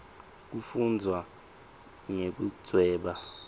kufundvwa nekudvweba